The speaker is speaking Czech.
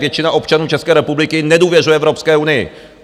Většina občanů České republiky nedůvěřuje Evropské unii!